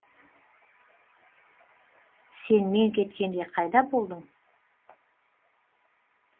сен мен кеткенде қайда болдың